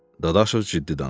Dadaşov ciddi danışır.